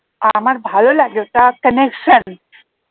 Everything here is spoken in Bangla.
আমার ভালো লাগে ওটা connection